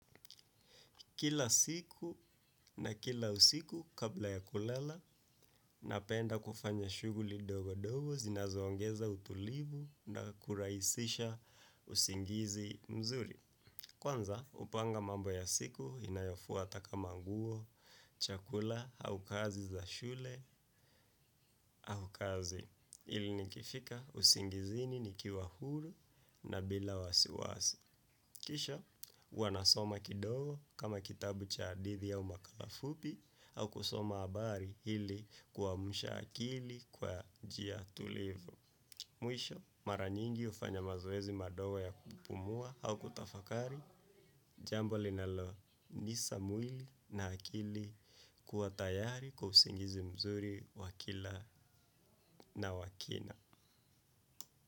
Kila siku na kila usiku kabla ya kulala napenda kufanya shughuli dogo dogo zinazo ongeza utulivu na kurahisisha usingizi mzuri. Kwanza hupanga mambo ya siku inayofuata kama nguo, chakula au kazi za shule au kazi ili nikifika usingizini nikiwa huru na bila wasiwasi. Kisha, huanasoma kidogo kama kitabu cha hadithi au makala fupi au kusoma habari ili kuamsha akili kwa jia tulivu. Mwisho mara nyingi hufanya mazoezi madogo ya kupumua au kutafakari jambo linalo misa mwili na akili kuwa tayari kwa usingizi mzuri na wa kina.